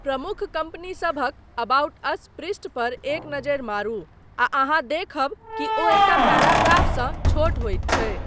प्रमुख कम्पनीसभक 'about us' पृष्ठ पर एक नजरि मारू आ अहाँ देखब कि ओ एक टा पैराग्राफसँ छोट होइत छै।